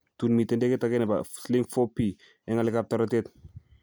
Tuun mitei ndegeit ake nebo Sling 4P eng ng'alekabtoretet.